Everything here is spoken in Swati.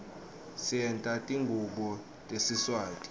senta tingubo tesiswati